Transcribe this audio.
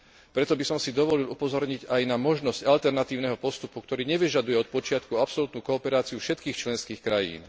Preto by som si dovolil upozorniť aj na možnosť alternatívneho postupu, ktorý nevyžaduje od počiatku absolútnu kooperáciu všetkých členských krajín.